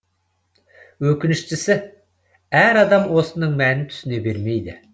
өкініштісі әр адам осының мәнін түсіне бермейді